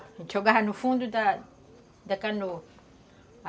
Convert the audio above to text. A gente jogava no fundo da da canoa.